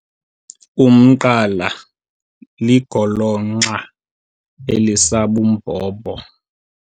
Umqala ligolonxa elisabumbhobho.